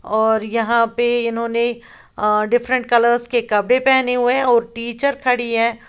और यहां पर इन्होंने या डिफरेंट कलर्स के कपड़े पहने हुए हैं और टीचर खड़ी है।